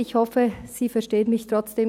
ich hoffe, Sie verstehen mich trotzdem.